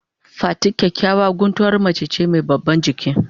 Fati kyakyawan guntuwar mace ce mai babban giki.